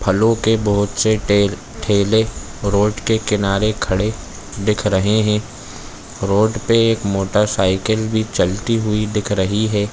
फलो के बहुत से ठेल ठेले रोड के किनारे खड़े दिख रहे है रोड पे एक मोटा साइकिल भी चलती हुई दिख रही हैं ।